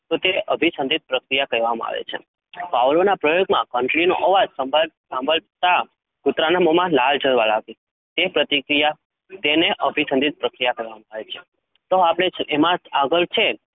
તો તે અભિ સંધિત્ પ્રતિક્રિયા, કેહવામાં આવે છે? ભવલોના પ્રયોગ માં ઘટિ નો અવાજ, શાભલતા કૂતરાના મોહ માં લાળ જળ એ પ્રતિક્રિયા અને, તેને અભિ સંધિત પ્રતિક્રિયા કેહવામાં આવે છે? તો જેમાં આગળ છે?